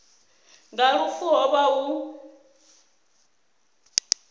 nga lufu ho vha hu